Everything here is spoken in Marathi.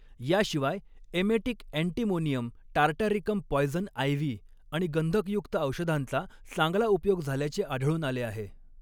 याशिवाय emetic antimonium tartaricum poison ivy आणि गंधकयुक्त औषधांचा चांगला उपयोग झाल्याचे आढळून आले आहे.